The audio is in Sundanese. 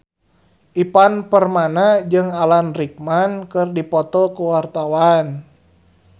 Ivan Permana jeung Alan Rickman keur dipoto ku wartawan